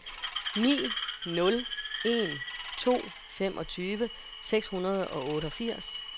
ni nul en to femogtyve seks hundrede og otteogfirs